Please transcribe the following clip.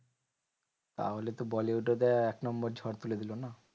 তাহলে তো bollywood এ এক নম্বর ঝড় তুলে দিলো না?